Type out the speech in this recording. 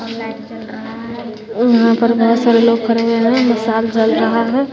यहां पर बहोत सारे लोग खड़े हुए हैं मिशाल जल रहा है।